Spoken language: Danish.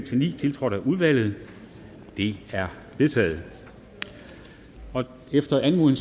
ni tiltrådt af udvalget de er vedtaget efter anmodning